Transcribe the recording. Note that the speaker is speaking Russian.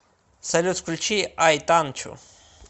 салют включи ай танчу